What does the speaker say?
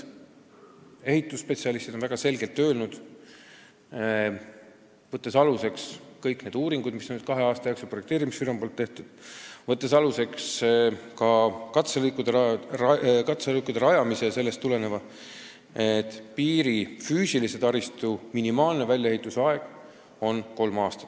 Ehitusspetsialistid on, võttes aluseks kõiki uuringuid, mis kahe aasta jooksul on projekteerimisfirmas tehtud, ning võttes aluseks ka katselõikude rajamisel ilmnenud asjaolusid, selgelt öelnud, et piiri füüsilise taristu väljaehitamise aeg on minimaalselt kolm aastat.